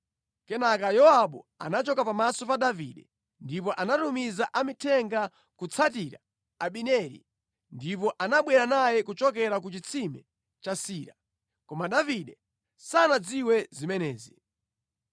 Kenaka Yowabu anachoka pamaso pa Davide ndipo anatumiza amithenga kutsatira Abineri, ndipo anabwera naye kuchokera ku chitsime cha Sira. Koma Davide sanadziwe zimenezi.